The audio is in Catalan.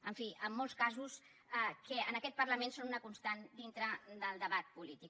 en fi en molts casos que en aquest parlament són una constant dintre del debat polític